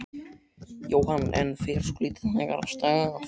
Jóhann: En fer svolítið hægar af stað?